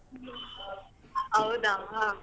ಹೌದಾ.